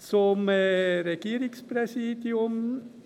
Zum Regierungspräsidium: